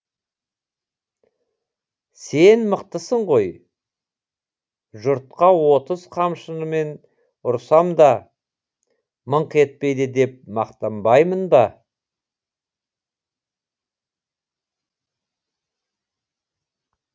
сен мықтысың ғой жұртқа отыз қамшымен ұрсам да мыңқ етпейді деп мақтанбаймын ба